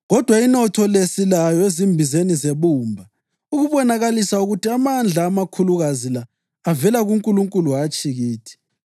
Kodwa inotho le silayo ezimbizeni zebumba ukubonakalisa ukuthi amandla amakhulukazi la avela kuNkulunkulu hatshi kithi.